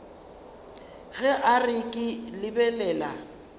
ge a re ke lebelela